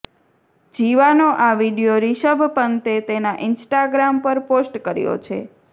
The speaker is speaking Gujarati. જીવાનો આ વીડિયો રિષભ પંતે તેના ઈન્સ્ટાગ્રામ પર પોસ્ટ કર્યો છે